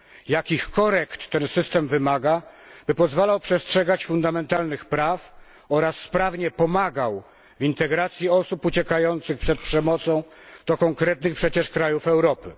Jakich korekt ten system wymaga, by pozwalał przestrzegać fundamentalnych praw oraz sprawnie pomagał w integracji osób uciekających przed przemocą do konkretnych przecież krajów Europy?